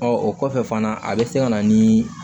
o kɔfɛ fana a bɛ se ka na ni